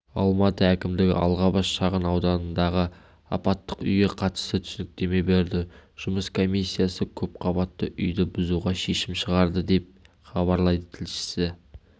алматы әкімдігі алғабас шағын ауданындағы апаттық үйге қатысты түсініктеме берді жұмыс комиссиясы көпқабатты үйді бұзуға шешім шығарды деп хабарлайды тілшісі